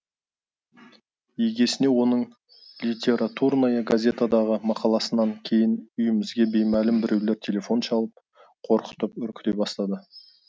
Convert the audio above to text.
иегесіне оның литературная газетадағы мақаласынан кейін үйімізге беймәлім біреулер телефон шалып қорқытып үркіте бастады